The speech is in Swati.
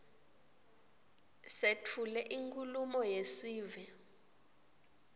setfule inkhulumo yesive